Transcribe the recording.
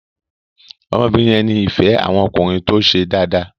ọmọ obìrin yẹ ní ìfé àwon ọkùnrin tó ṣe Dàda.